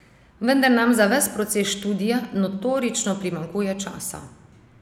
Vendar nam za ves proces študija notorično primanjkuje časa.